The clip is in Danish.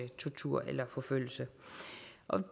tortur eller forfølgelse